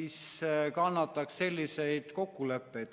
mis kannataks selliseid kokkuleppeid.